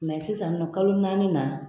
Mɛ sisan nin nɔ kalo naani na